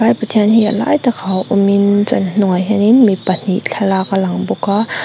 vai pathian hi a lai takah awmin chuan a hnungah hianin mi pahnih thlalak a lang bawk a.